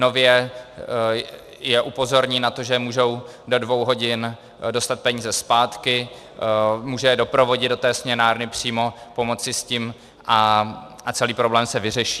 Nově je upozorní na to, že můžou do dvou hodin dostat peníze zpátky, může je doprovodit do té směnárny přímo, pomoci s tím a celý problém se vyřeší.